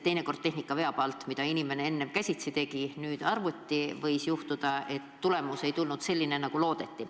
Teinekord tehnika veab alt: mida inimene enne käsitsi tegi, teeb nüüd arvuti – võib juhtuda, et tulemus ei ole selline, nagu loodeti.